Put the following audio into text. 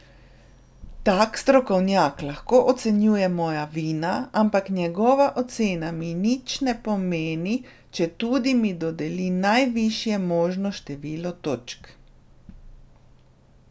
Tak strokovnjak lahko ocenjuje moja vina, ampak njegova ocena mi nič ne pomeni, četudi mi dodeli najvišje možno število točk.